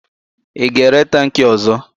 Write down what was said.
Ị ga-ere tankị ọ̀zọ́?